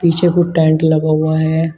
पीछे को टेंट लगा हुआ है।